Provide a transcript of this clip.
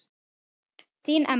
Þín Emma.